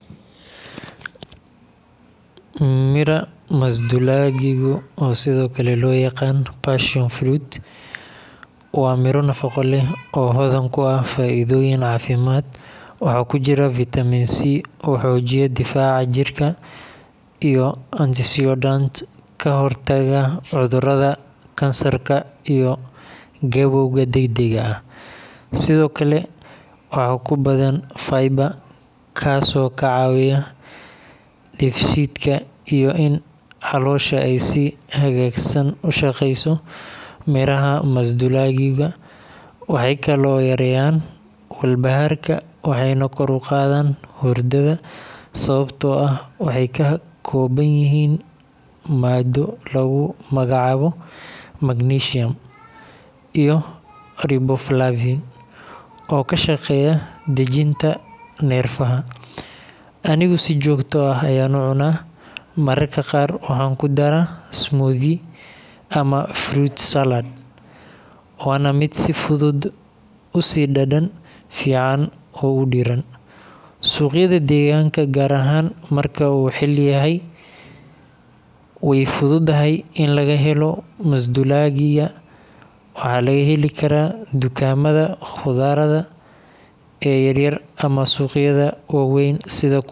Midha masduulaagigu, oo sidoo kale loo yaqaan passion fruit, waa miro nafaqo leh oo hodan ku ah faa’iidooyin caafimaad. Waxaa ku jira fitamiin C oo xoojiya difaaca jirka, iyo antioxidants ka hortaga cudurrada kansarka iyo gabowga degdegga ah. Sidoo kale, waxaa ku badan fiber, kaasoo ka caawiya dheefshiidka iyo in caloosha ay si hagaagsan u shaqeyso. Midhaha masduulaagiga waxay kaloo yareeyaan walbahaarka waxayna kor u qaadaan hurdada, sababtoo ah waxay ka kooban yihiin maaddo lagu magacaabo magnesium iyo riboflavin oo ka shaqeeya dejinta neerfaha. Anigu si joogto ah ayaan u cuno, mararka qaar waxaan ku daraa smoothie ama fruit salad, waana mid si fudud u sii dhadhan fiican oo u diirran. Suuqyada deegaanka, gaar ahaan marka uu xilli yahay, way fududahay in laga helo masduulaagiga. Waxaa laga heli karaa dukaamada khudradda ee yaryar ama suuqyada waaweyn.